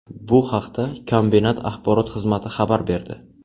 Bu haqda kombinat axborot xizmati xabar berdi .